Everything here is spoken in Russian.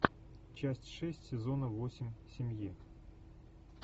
часть шесть сезона восемь семьи